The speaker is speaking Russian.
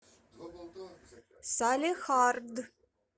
салехард